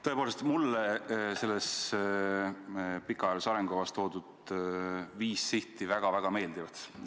Tõepoolest, mulle selles pikaajalises arengukavas toodud viis sihti väga-väga meeldivad.